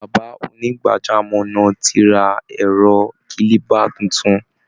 Bàbá onígbàjámọ̀ náà ti ra ẹ̀rọ kílíbà tuntun